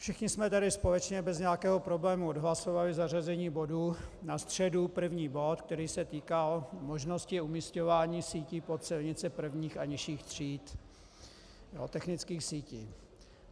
Všichni jsme tady společně bez nějakého problému odhlasovali zařazení bodu na středu, první bod, který se týkal možnosti umisťování sítí pod silnice prvních a nižších tříd, technických sítí.